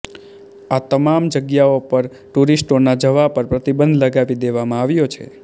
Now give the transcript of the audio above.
આ તમામ જગ્યાઓ પર ટૂરિસ્ટોના જવા પર પ્રતિબંધ લગાવી દેવામાં આવ્યો છે